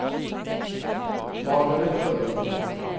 Margaret Rønningen